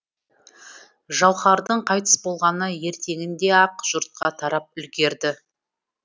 жауһардың қайтыс болғаны ертеңінде ақ жұртқа тарап үлгерді